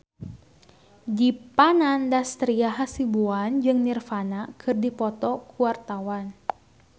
Dipa Nandastyra Hasibuan jeung Nirvana keur dipoto ku wartawan